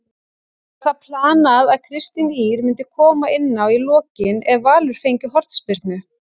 Var það planað að Kristín Ýr myndi koma inná í lokin ef Valur fengi hornspyrnu?